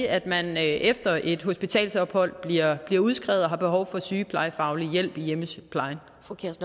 at man efter et hospitalsophold bliver bliver udskrevet og har behov for sygeplejefaglig hjælp i hjemmesygeplejen